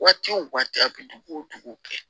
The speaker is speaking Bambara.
Waati wo waati a bɛ dugu o dugu kɛ